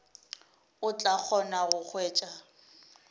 o tla kgona go hwetša